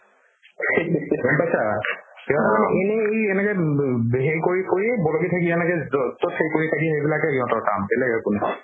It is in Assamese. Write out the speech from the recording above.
গম পাইছা সিহঁতেতো এনেই ই এনেকে উব উব হেৰি কৰি কৰি বদলি থাকি এনেকে য'ত ত'ত সেই কৰি থাকি সেইবিলাকে সিহঁতৰ কাম বেলেগ একো নহয়